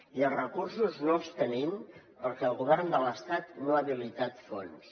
i els recursos no els tenim perquè el govern de l’estat no ha habilitat fons